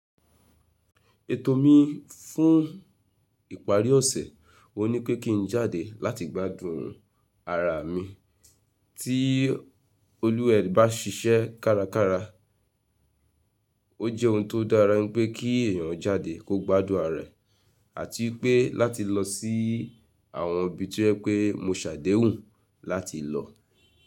Ètò mi fún ìparí ọ̀sẹ̀ o n ní pé kí n jáde láti gbádùn ara mi. Tí olúwẹ̀ẹ́ bá ṣiṣẹ́ kárakára, o jẹ́ ohun tó dára pé kí èèyàn jáde kó gbádùn ara rẹ̀, àti pé láti lọ sí àwọn ibi tí o jẹ́ pẹ́ mo ṣàdéhùn láti lọ.